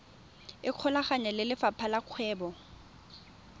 ikgolaganye le lefapha la kgwebo